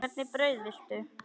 Hvernig brauð viltu?